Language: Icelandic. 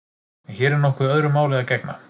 En hér er nokkuð öðru máli að gegna.